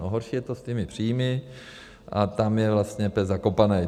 No horší je to s těmi příjmy a tam je vlastně pes zakopaný.